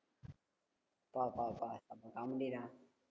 பா பா பா காமெடி டா